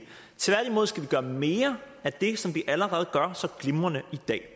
tværtimod skal vi gøre mere af det som vi allerede gør så glimrende i dag